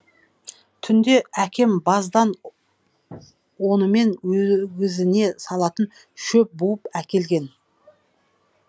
түнде әкем баздан онымен өгізіне салатын шөп буып әкелген